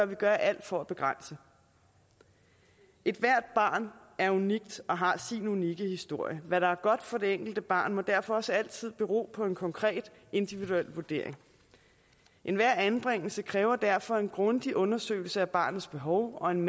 vi gøre alt for at begrænse ethvert barn er unikt og har sin unikke historie hvad der er godt for det enkelte barn må derfor også altid bero på en konkret individuel vurdering enhver anbringelse kræver derfor en grundig undersøgelse af barnets behov og en